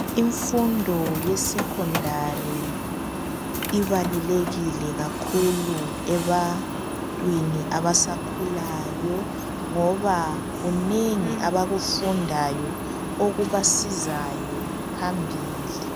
Imfundo yesekhondari ibalulekile kakhulu ebantwini abasakhulayo ngoba kunengi abakufundayo okubasizayo phambili.